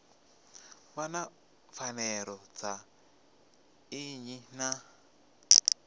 vhona pfanelo dza nnyi na